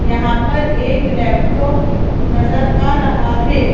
यहां पर एक लैपटॉप नजर आ रहा है।